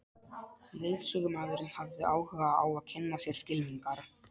Leiðsögumaðurinn hafði áhuga á að kynna sér skylmingar.